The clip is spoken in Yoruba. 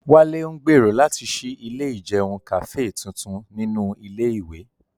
Wálé ń gbèrò láti ṣí ilé ìjẹun Kàfé tuntun ní ilé ìwé